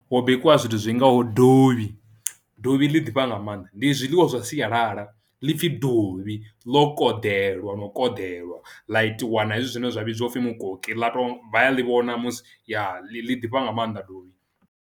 Hu bikwa zwithu zwingaho dovhi dovhi ḽi ḓifha nga maanḓa ndi zwiḽiwa zwa sialala ḽi pfhi dovhi ḽo konḓelwa no konḓelwa ḽa itiwa na hezwi zwine zwa vhidziwa upfhi mukoki ḽa to vha ya ḽi vhona musi ya ḽi ḓifha nga maanḓa dovhi.